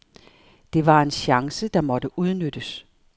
Det var en chance, der måtte udnyttes.